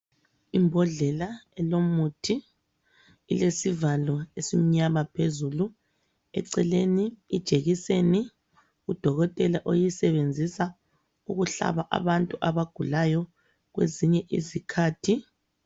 Imbodlela elomuthi, ilesivalo esi mnyama phezulu, eceleni ijekiseni udokotela oyisebenzisa ukuhlaba abantu abagulayo kwezinye izikhathi.